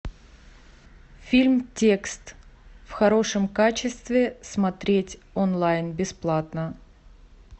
фильм текст в хорошем качестве смотреть онлайн бесплатно